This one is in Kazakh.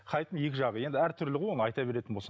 хайптың екі жағы енді әртүрлі ғой оны айта беретін болсаң